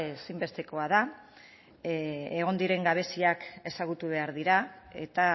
ezinbestekoa da egon diren gabeziak ezagutu behar dira eta